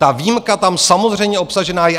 Ta výjimka tam samozřejmě obsažena je.